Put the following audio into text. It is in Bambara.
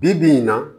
Bi bi in na